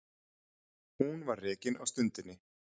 Hún var rekin á stundinni